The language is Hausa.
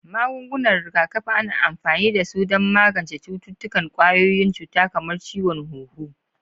Magungunan rigakafi: Ana amfani da su don magance cututtukan ƙwayoyin cuta kamar ciwon huhu.